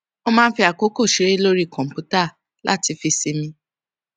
ó máa ń fi àkókò ṣeré lórí kòǹpútà láti fi sinmi